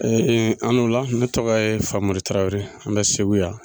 E e an nula ne tɔgɔ ye Famori Tarawele n bɛ Segu yan.